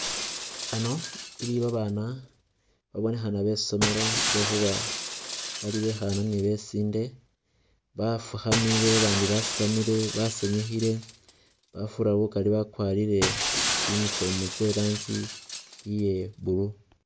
Ano iliwo babana babonekhana besomelo lwekhuba bali bekhana ni besinde bafukhamile babandi basitamile basenyukhile, bafura bukali bakwarire tsi uniform tse ranji ye blue